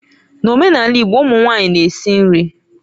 N'omenala Igbo ụmụ nwanyị na-esi nri.